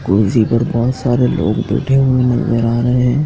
कुर्सी पर बहोत सारे लोग बैठे हुए नजर आ रहे--